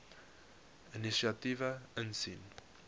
inisiatiewe insien